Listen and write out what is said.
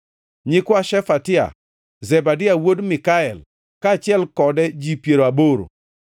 nyikwa Shefatia, Zebadia wuod Mikael, kaachiel kode ji piero aboro;